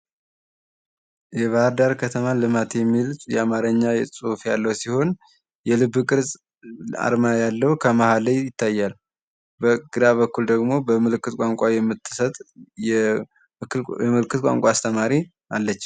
የባህርዳር ከተማ ልማት የሚል የአማራ ጽሑፍ ያለው ሲሆን የልብ ቅርጽ አርማ ያለው ከመሀል ላይ ይታያል በግራ በኩል ደግሞ በምልክት ቋንቋ የምትሰጥ የምልክት ቋንቋ አስተማሪ አለች።